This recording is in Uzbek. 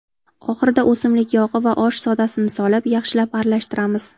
Oxirida o‘simlik yog‘i va osh sodasini solib, yaxshilab aralashtiramiz.